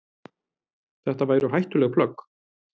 Þetta væru hættuleg plögg.